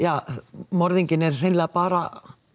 morðinginn er hreinlega bara